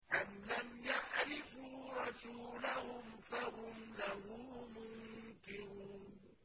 أَمْ لَمْ يَعْرِفُوا رَسُولَهُمْ فَهُمْ لَهُ مُنكِرُونَ